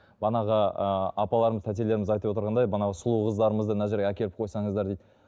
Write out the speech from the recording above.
манағы ы апаларымыз тәтелеріміз айтып отырғандай мынау сұлу қыздарымызды мына жерге әкеліп қойсаңыздар дейді